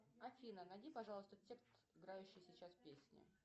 афина найди пожалуйста текст играющей сейчас песни